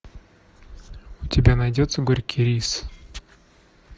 у тебя найдется горький рис